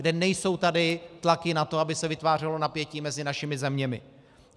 Kde nejsou tady tlaky na to, aby se vytvářelo napětí mezi našimi zeměmi.